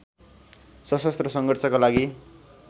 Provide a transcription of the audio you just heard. सशस्त्र सङ्घर्षका लागि